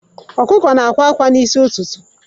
Ọkụkụ na-akwa akwa n'isi ụtụtụ.